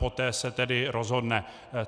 Poté se tedy rozhodne.